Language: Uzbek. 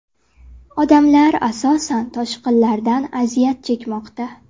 Odamlar asosan toshqinlardan aziyat chekmoqda.